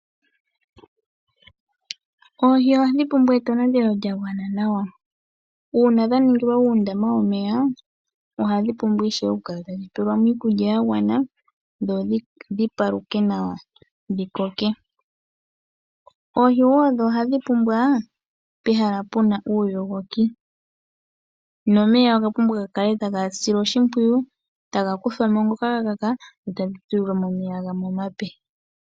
Oohi ohadhi pumbwa etonatelo lya gwana nawa. Uuna dha ningilwa uundama womeya odha pumbwa oku tulilwa ko iikulya ya gwana dhi paluke nawa dho dhi koke. Oohi ohadhi pumbwa pehala pwa yogoka. Omeya oga pumbwa oku kala taga silwa. oshimpwiyu, ngono ga kaka ta ga kuthwa mo e tha dhi tulilwa mo omeya gamwe omape.